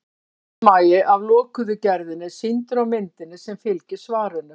sundmagi af lokuðu gerðinni er sýndur á myndinni sem fylgir svarinu